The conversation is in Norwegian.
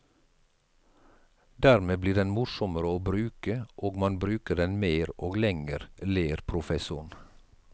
Dermed blir den morsommere å bruke og man bruker den mer og lenger, ler professoren.